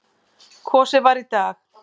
Kosið var í dag.